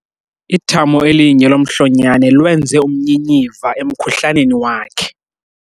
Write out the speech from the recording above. Ithamo elinye lomhlonyane lwenze umnyinyiva emkhuhlaneni wakhe.